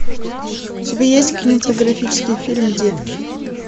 у тебя есть кинематографический фильм детки